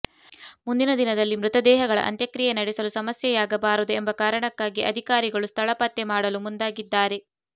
ಮುಂದಿನ ದಿನದಲ್ಲಿ ಮೃತ ದೇಹಗಳ ಅಂತ್ಯಕ್ರಿಯೆ ನಡೆಸಲು ಸಮಸ್ಯೆಯಾಗಬಾರದು ಎಂಬ ಕಾರಣಕ್ಕಾಗಿ ಅಧಿಕಾರಿಗಳು ಸ್ಥಳ ಪತ್ತೆ ಮಾಡಲು ಮುಂದಾಗಿದ್ದಾರೆ